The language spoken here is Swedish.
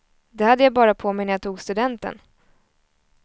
Det hade jag bara på mig när jag tog studenten.